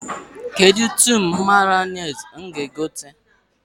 Kedụ tin Mayọnais m ga-egote?